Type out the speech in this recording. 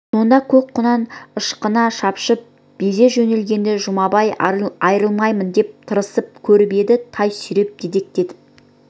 сонда көк құнан ышқына шапшып безе жөнелгенде жұмабай айырылмаймын деп тырысып көріп еді тай сүйреп дедектетіп